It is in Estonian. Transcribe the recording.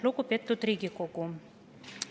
Lugupeetud Riigikogu!